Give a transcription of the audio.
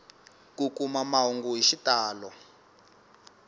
ku kuma mahungu hi xitalo